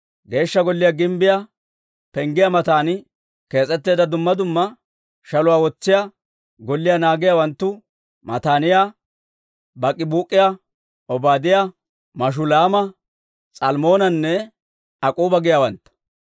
Geeshsha Golliyaa gimbbiyaa penggiyaa matan kees'etteedda dumma dumma shaluwaa wotsiyaa golliyaa naagiyaawanttu Mataaniyaa, Baak'ibuuk'iyaa, Obaadiyaa, Mashulaama, S'almmoonanne Ak'k'uuba giyaawaantta.